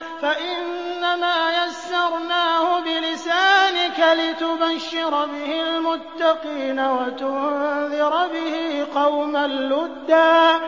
فَإِنَّمَا يَسَّرْنَاهُ بِلِسَانِكَ لِتُبَشِّرَ بِهِ الْمُتَّقِينَ وَتُنذِرَ بِهِ قَوْمًا لُّدًّا